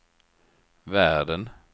världen